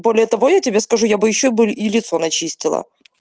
более того я тебе скажу я бы ещё бы и лицо начистила